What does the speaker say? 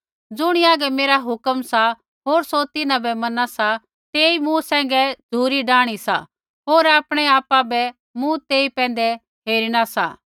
ज़ुणी हागै मेरा हुक्म सा होर सौ तिन्हां बै मना सा सौ मूँ सैंघै झ़ुरी डाआणी सा होर आपणै आपा बै मूँ तेई पैंधै हेरिणा सा